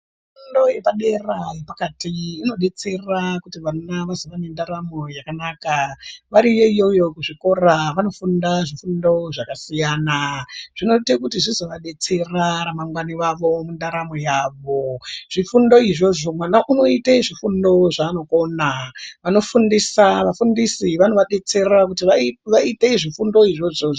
Fundo yepadera inodetsera kuti vana vazova nendaramo yakanaka variyo iyoyo kuzvikora vantu vanofunda fundo zvakasiyana zvinoita kuti zvizovadetsera ramangwani ravo mundaramo yavo zvofundo izvozvo mwana unoita zvofundo zvaanokona vanofundiswa vafundisi vanovadetsera kuti vaite zvofundo izvozvo.